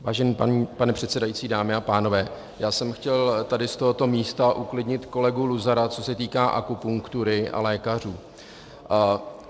Vážený pane předsedající, dámy a pánové, já jsem chtěl tady z tohoto místa uklidnit kolegu Luzara, co se týká akupunktury a lékařů.